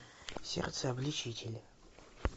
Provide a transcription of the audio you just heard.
сердце обличитель